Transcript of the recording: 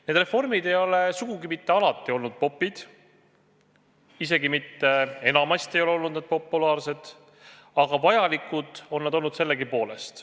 Need reformid ei ole sugugi mitte alati olnud popid, isegi mitte enamasti pole need populaarsed olnud, aga vajalikud on need olnud sellegipoolest.